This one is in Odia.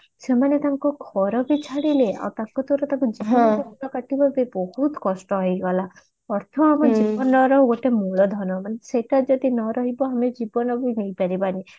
ସେମାନେ ତାଙ୍କ ଘର ବି ଛାଡିଲେ ଆଉ ତାଙ୍କ ଦ୍ଵାରା ହୋଇଗଲା ଅର୍ଥ ଆମ ଜୀବନର ଗୋଟେ ମୂଳ ଧନ ନା ସେଟା ଯଦି ନ ରହିବ ଆମେ ଜୀବନରୁ ନେଇ ପାରିବା ନି